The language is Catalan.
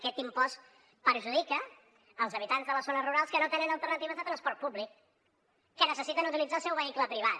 aquest impost perjudica els habitants de les zones rurals que no tenen alternatives de transport públic que necessiten utilitzar el seu vehicle privat